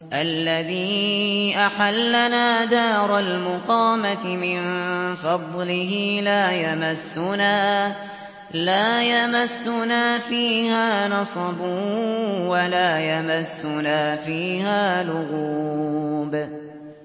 الَّذِي أَحَلَّنَا دَارَ الْمُقَامَةِ مِن فَضْلِهِ لَا يَمَسُّنَا فِيهَا نَصَبٌ وَلَا يَمَسُّنَا فِيهَا لُغُوبٌ